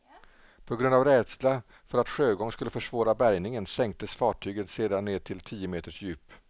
På grund av rädsla för att sjögång skulle försvåra bärgningen sänktes fartyget sedan ned till tio meters djup.